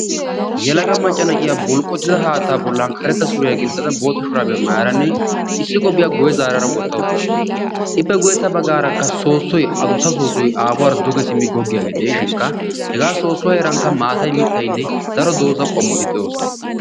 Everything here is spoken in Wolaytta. Yelaga maca na'iyaa bulqotida haattaa bollan karetta suriya gixxada bootta shuraabiya maayaranne issi qophiyaa guyye zaarara wotta uttaasu. Ippe guyyessa baggarakka soosoy adussa. soosoy aafuwara duge simmi gogiyagee de'ishinikka; hegaa soosuwa heerankka maatay mittaynne daro dooza qommoti de'osona.